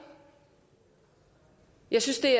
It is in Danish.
jeg synes det